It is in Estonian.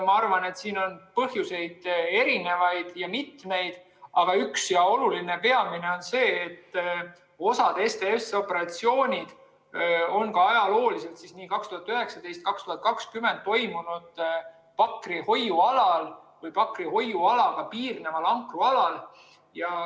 Ma arvan, et siin oli põhjuseid erinevaid ja mitmeid, aga üks ja oluline, peamine oli see, et osa STS‑operatsioone toimus ajalooliselt, nii 2019 kui ka 2020, Pakri hoiualal või Pakri hoiualaga piirneval ankrualal.